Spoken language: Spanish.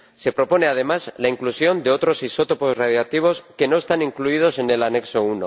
Se propone, además, la inclusión de otros isótopos radiactivos que no están incluidos en el anexo I.